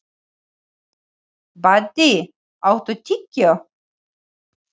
Baddi, áttu tyggjó?